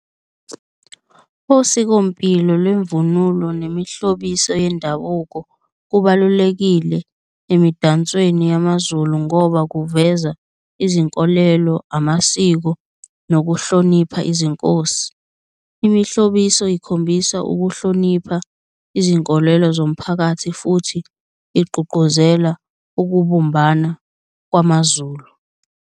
Osikompilo lwemvunulo nemihlobiso yendabuko kubalulekile emidansweni yamaZulu ngoba kuveza izinkolelo, amasiko nokuhlonipha izinkosi. Imihlobiso ikhombisa ukuhlonipha izinkolelo zomphakathi futhi igqugquzela ukubumbana kwamaZulu.